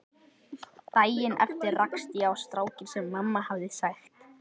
Daginn eftir rakst ég á strákinn sem mamma hafði sagt